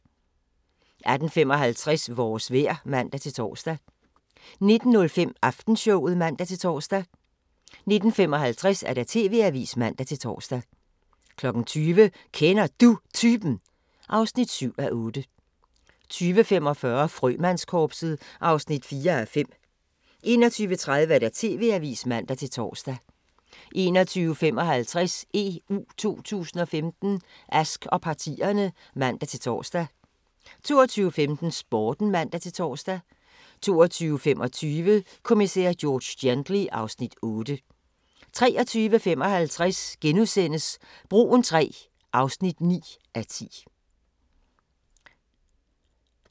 18:55: Vores vejr (man-tor) 19:05: Aftenshowet (man-tor) 19:55: TV-avisen (man-tor) 20:00: Kender Du Typen? (7:8) 20:45: Frømandskorpset (4:5) 21:30: TV-avisen (man-tor) 21:55: EU 2015: Ask og partierne (man-tor) 22:15: Sporten (man-tor) 22:25: Kommissær George Gently (Afs. 8) 23:55: Broen III (9:10)*